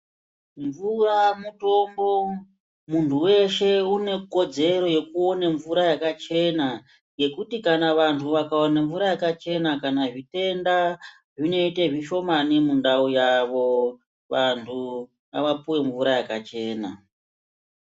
Mvura mutombo. Muntu weshe unekodzero yekuone mvura yakachena ngekuti kana vantu vakawane mvura yakachena zvitenda zvinoite zvishomani mundau yavo. Vantu ngavapuwe mvura yakachena.